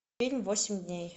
фильм восемь дней